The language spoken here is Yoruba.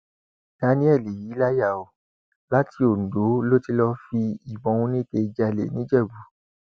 daniel yìí láyà o láti ondo ló ti lọọ fi ìbọn oníke jálẹ nìjẹbù